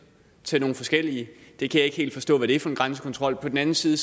til nogle forskellige jeg kan ikke helt forstå hvad det er for en grænsekontrol på den anden side